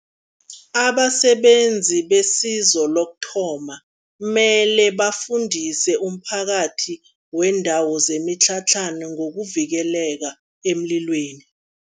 Abasebenzi besizo lokuthoma, mele bafundise umphakathi weendawo zemitlhatlhana ngokuvikeleka emlilweni.